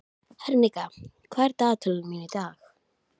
Henrika, hvað er í dagatalinu mínu í dag?